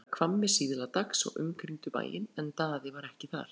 Þeir voru komnir að Hvammi síðla dags og umkringdu bæinn en Daði var ekki þar.